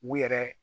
U yɛrɛ